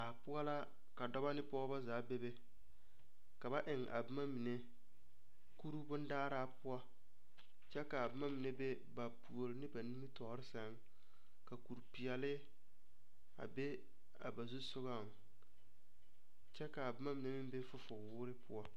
Daa poɔ la ka dɔba ne pɔgeba zaa bebe ka ba eŋ a boma mine kuri bondaaraa poɔ kyɛ ka a boma be ba puori ne ba nimitɔɔɔre sɛŋ ka kurepeɛlle a be a ba zu sogaŋ kyɛ ka a boma mine meŋ be a fufuwoore poɔ.